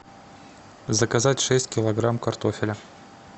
заказать шесть килограмм картофеля